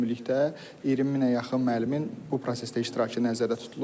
Ümumilikdə 20 minə yaxın müəllimin bu prosesdə iştirakı nəzərdə tutulur.